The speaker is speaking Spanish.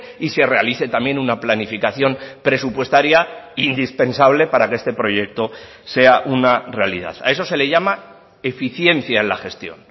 y se realice también una planificación presupuestaria indispensable para que este proyecto sea una realidad a eso se le llama eficiencia en la gestión